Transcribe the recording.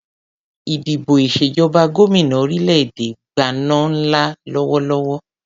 Ìdìbò ìṣèjọba gómìnà orílè-èdè Gbana ń lọ lọ́wọ́lọ́wọ́